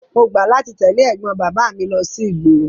Mo gbà láti tẹ̀lé ẹ̀gbọ́n bàbá mi lọ sí ìgboro.